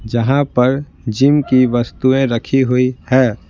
जहां पर जिम की वस्तुएं रखी हुई है।